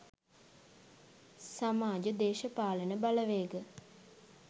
සමාජ දේශපාලන බලවේග